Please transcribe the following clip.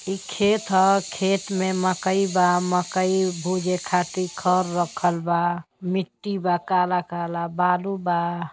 ई खेत ह खेत मकई बा मकई भुजे खातिर खर रखल बा मिट्टी बा काला-काला बालू बा।